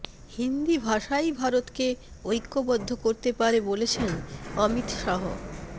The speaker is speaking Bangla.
হিন্দি ভাষাই ভারতকে ঐক্যবদ্ধ করতে পারে বলেছেন অমিত শাহ